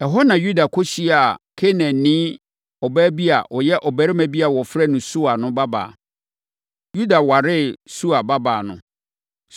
Ɛhɔ na Yuda kɔhyiaa Kanaanni ɔbaa bi a ɔyɛ ɔbarima bi a wɔfrɛ no Sua no babaa. Yuda waree Sua babaa no.